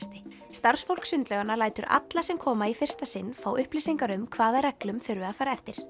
starfsfólk sundlauganna lætur alla sem koma í fyrsta sinn fá upplýsingar um hvaða reglum þurfi að fara eftir